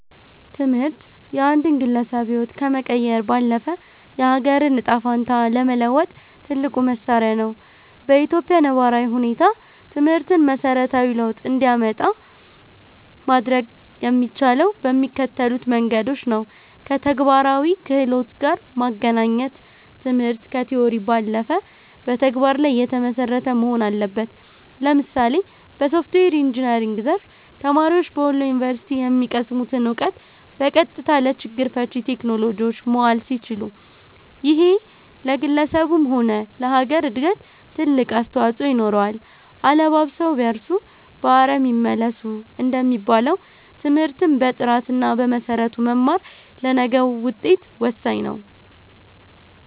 ትምህርት የአንድን ግለሰብ ህይወት ከመቀየር ባለፈ፣ የአገርን ዕጣ ፈንታ ለመለወጥ ትልቁ መሣሪያ ነው። በኢትዮጵያ ነባራዊ ሁኔታ ትምህርትን መሠረታዊ ለውጥ እንዲያመጣ ማድረግ የሚቻለው በሚከተሉት መንገዶች ነውከተግባራዊ ክህሎት ጋር ማገናኘት ትምህርት ከቲዎሪ ባለፈ በተግባር ላይ የተመሰረተ መሆን አለበት። ለምሳሌ በሶፍትዌር ኢንጂነሪንግ ዘርፍ፣ ተማሪዎች በወሎ ዩኒቨርሲቲ የሚቀስሙትን እውቀት በቀጥታ ለችግር ፈቺ ቴክኖሎጂዎች ማዋል ሲችሉ፣ ይሄ ለግለሰቡም ሆነ ለሀገር እድገት ትልቅ አስተዋፅኦ ይኖረዋል። "አለባብሰው ቢያርሱ በአረም ይመለሱ" እንደሚባለው፣ ትምህርትን በጥራትና በመሰረቱ መማር ለነገው ውጤት ወሳኝ ነው።